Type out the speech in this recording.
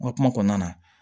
N ka kuma kɔnɔna na